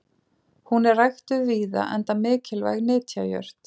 hún er ræktuð víða enda mikilvæg nytjajurt